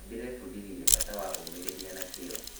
Ndĩrebundithirie bata wa ũmĩrĩria na kĩyo.